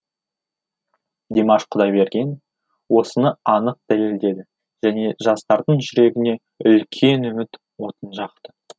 димаш құдайберген осыны анық дәлелдеді және жастардың жүрегіне үлкен үміт отын жақты